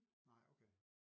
Nej okay